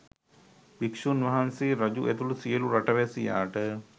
භික්‍ෂූන් වහන්සේ රජු ඇතුළු සියලු රටවැසියාට